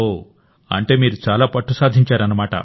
ఓ అంటే మీరు చాలా పట్టు సాధించారు